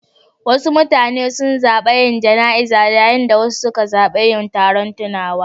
Wasu mutane sun zaɓi yin jana'iza, yayin da wasu suka zaɓi yin taron tunawa.